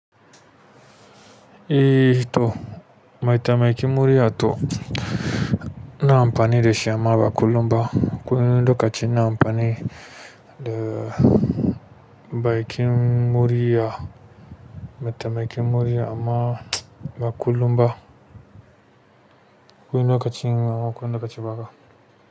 Eh to, maitamaikin murya to ina amfani da shi amma ba kullum ba. Akwai wani lokaci ina amfani da bakin murya, mataimakin murya amma ba kullum ba. Wani lokacin, amma ba ko wani lokaci haka,